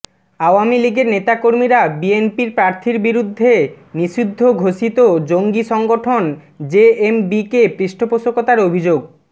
আওয়ামী লীগের নেতাকর্মীরা বিএনপি প্রার্থীর বিরুদ্ধে নিষিদ্ধ ঘোষিত জঙ্গি সংগঠন জেএমবিকে পৃষ্ঠপোষকতার অভিযোগ